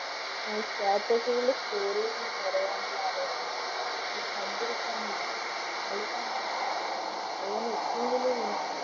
ഹും status കളില് score കൾ പറയാനുള്ള ആവേശമാണ് കളി കണ്ടിരിക്കാനുള്ള ആവേശമാണ് കളി കാണാനുള്ള അതുപോലെ ഏറ്റവും വലിയ വിനോദം